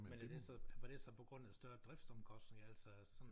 Men er det så var det så på grund af større driftsomkostninger altså sådan